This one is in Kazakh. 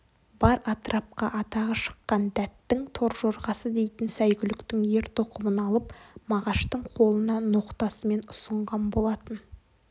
бар атырапқа атағы шыққан дәттің торжорғасы дейтін сәйгүліктің ер-тоқымын алып мағаштың қолына ноқтасымен ұсынған болатын